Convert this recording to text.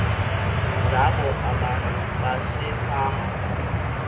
zabo abantu basefama